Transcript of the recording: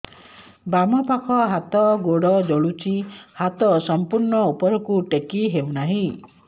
ବାମପାଖ ହାତ ଗୋଡ଼ ଜଳୁଛି ହାତ ସଂପୂର୍ଣ୍ଣ ଉପରକୁ ଟେକି ହେଉନାହିଁ